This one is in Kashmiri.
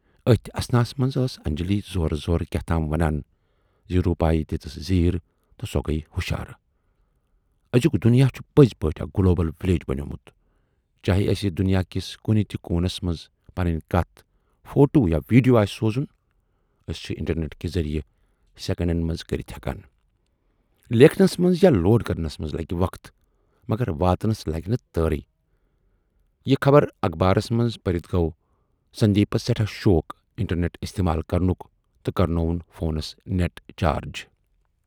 ٲتھۍ اثناہَس منز ٲس انجلی زورٕ زورٕ کیاہتام ونان زِ روٗپایہِ دِژٕس زیٖر تہٕ سۅ گٔیہِ ہُشار۔ ٲزیُک دُنیا چھُ پٔزۍ پٲٹھۍ اکھ گلوبل وِلیٮ۪ج بنیومُت چاہے اسہِ دُنیا کِس کُنہٕ تہِ کوٗنس منز پنٕنۍ کتَھ، فوٹو یا وِیڈیو آسہِ سوٗزُن چھِ ٲسۍ انٹرنیٹ کہِ ذٔریعہِ سیکنڈن منز کٔرِتھ ہٮ۪کان۔ لیکھنَس منز یا لوڈ کرنس منز لگہِ وق، مگر واتنس لگہِ نہٕ تٲرٕے یہِ خبر اخبارس منز پٔرِتھ گَو سندیپسؔ سٮ۪ٹھاہ شوق انٹرنیٹ استعمال کَرنُک تہٕ کرنووُن فونس نیٹ چارج۔